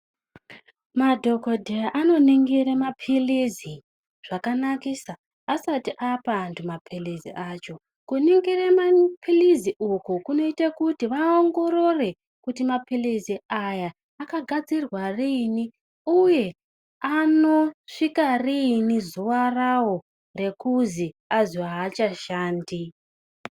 Madhokodheya anoningire ma pilizi zvakanakisa asati apa antu ma pilizi acho kuningire mapilizi uku kunoite kuti vaongorore kuti mapilizi aya aka gadzirwa riini uye anosvika riini zuwa rawo ekunzi anzi aachashandi.